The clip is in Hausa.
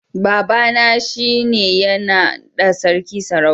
Baba na shi ne ya na da sarki sarauta